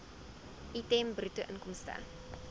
item bruto inkomste